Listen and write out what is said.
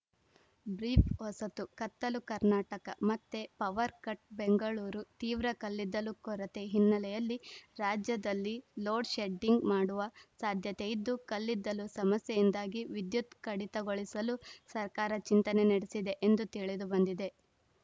brief ಹೊಸತು ಕತ್ತಲು ಕರ್ನಾಟಕ ಮತ್ತೆ ಪವರ್‌ಕಟ್‌ ಬೆಂಗಳೂರು ತೀವ್ರ ಕಲ್ಲಿದ್ದಲು ಕೊರತೆ ಹಿನ್ನೆಲೆಯಲ್ಲಿ ರಾಜ್ಯದಲ್ಲಿ ಲೋಡ್‌ಶೆಡ್ಡಿಂಗ್‌ ಮಾಡುವ ಸಾಧ್ಯತೆ ಇದ್ದು ಕಲ್ಲಿದ್ದಲು ಸಮಸ್ಯೆಯಿಂದಾಗಿ ವಿದ್ಯುತ್‌ ಕಡಿತಗೊಳಿಸಲು ಸರ್ಕಾರ ಚಿಂತನೆ ನಡೆಸಿದೆ ಎಂದು ತಿಳಿದುಬಂದಿದೆ